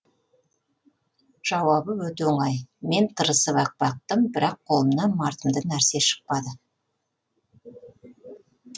жауабы өте оңай мен тырысып ақ бақтым бірақ қолымнан мардымды нәрсе шықпады